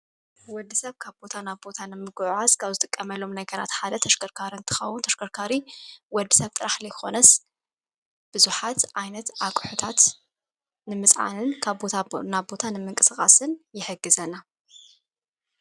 ወዲ ሰብ ካብ ቦታ ናብ ቦታ ንምጕዕዓዝ ካብ ዝጥቀመሎም ነገራት ሓደ ኣሽከርካር ን ተኻወ ተሽከርካሪ ወዲ ሰብ ጥራሕ ለይኾነስ ብዙኃት ኣይነት ኣቕሑታት ንምጽዓንን ካብ ቦታ ናብ ቦታ ንምንቅስቓስን የሕግዘና።